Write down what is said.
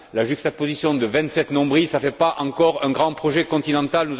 La juxtaposition de vingt sept nombrils ne fait pas encore un grand projet continental.